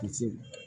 Misi